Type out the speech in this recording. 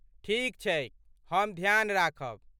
ठीक छैक। हम ध्यान राखब।